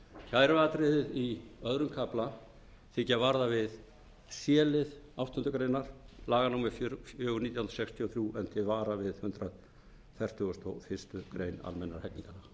kæruatriðið í öðrum kafla þykir varða við c lið áttundu grein laga númer fjögur nítján hundruð sextíu og þrjú en til